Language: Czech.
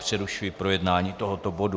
Přerušuji projednání tohoto bodu.